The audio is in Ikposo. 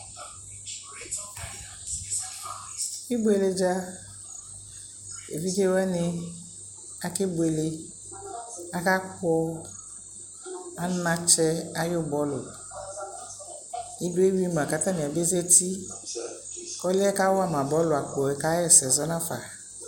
ibʋɛlɛ dza, ɛvidzɛ wani akɛ bʋɛlɛ, aka kpɔ anakyɛ ayi bɔlʋ, idɔ ɛwi ma kʋ atani ɛzati kʋ ɔlʋɛ kawama bɔlʋ akpɔɛ ka yɛsɛ zɔnʋ aƒa